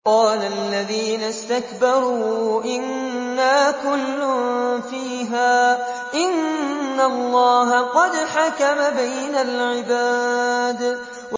قَالَ الَّذِينَ اسْتَكْبَرُوا إِنَّا كُلٌّ فِيهَا إِنَّ اللَّهَ قَدْ حَكَمَ بَيْنَ الْعِبَادِ